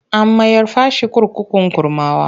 An mayar fa shi kurkukun Kurmawa.